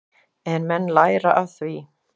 En menn læra af því.